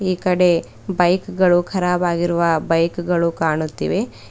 ಈಕಡೆ ಬೈಕ ಗಳು ಕರಾಬ್ ಆಗಿರುವ ಗಳು ಕಾಣುತ್ತಿವೆ.